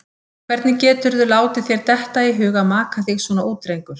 Hvernig GETURÐU látið þér detta í hug að maka þig svona út, drengur!